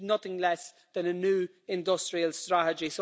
They need nothing less than a new industrial strategy.